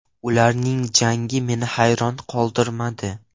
Ularning jangi meni hayron qoldirmadi.